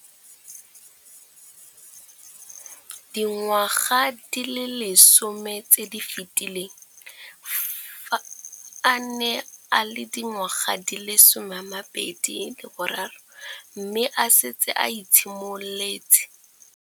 Dingwaga di le 10 tse di fetileng, fa a ne a le dingwaga di le 23 mme a setse a itshimoletse.